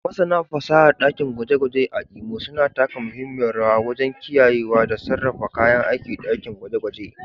Masana fasahar ɗakin gwaje-gwaje a Imo suna taka muhimmiyar rawa wajen kiyayewa da sarrafa kayan aikin dakin gwaje-gwaje